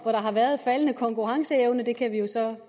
år har været faldende konkurrenceevne vi kan jo så